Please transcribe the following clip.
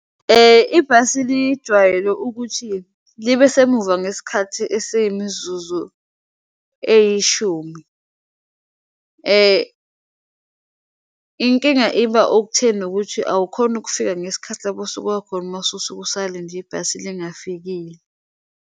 Ibhasi lijwayele ukuthi libe semumva ngesikhathi esiyimizuzu eyishumi. Inkinga iba okutheni nokuthi awukhoni ukufika ngesikhathi lapho osuka khona mase usuke usalinde ibhasi lingafikile.